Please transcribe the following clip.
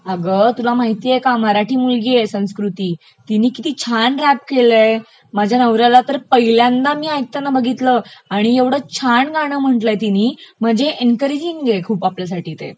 अगं तुला माहितेय का मराठी मुलगी आहे संस्कृती तिने किती छान रॅप केलयं, माझ्या नवऱ्याला तर मी पहिल्यांदा ऐकताना बघितलं आणि ऐवढं छान गाण म्हटलंय तिनी म्हणजे एन्करेजिंग आहे खूप आपल्यासाठी ते